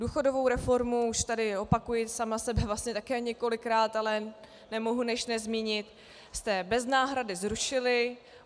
Důchodovou reformu, už tady opakuji sama sebe vlastně také několikrát, ale nemohu než nezmínit, jste bez náhrady zrušili.